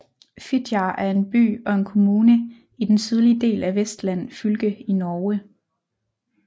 Fitjar er by og en kommune i den sydlige del af Vestland fylke i Norge